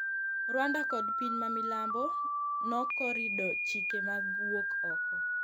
rwanda kod piny mamilambo nokorido chike mag wuok oko